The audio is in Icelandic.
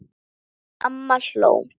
Amma hló.